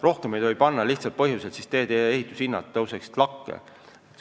Rohkem ei tohi lihtsal põhjusel, et siis teedeehituse hinnad tõuseksid lakke.